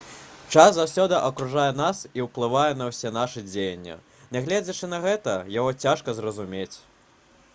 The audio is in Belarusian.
час заўсёды акружае нас і ўплывае на ўсе нашы дзеянні нягледзячы на гэта яго цяжка зразумець